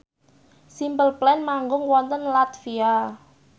Simple Plan manggung wonten latvia